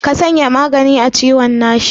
Ka sanya magani a ciwon nashi.